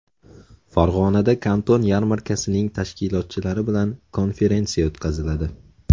Farg‘onada Kanton yarmarkasining tashkilotchilari bilan konferensiya o‘tkaziladi.